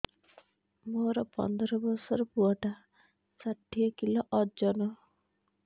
ମୋର ପନ୍ଦର ଵର୍ଷର ପୁଅ ଟା ଷାଠିଏ କିଲୋ ଅଜନ